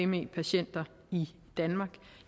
me patienter i danmark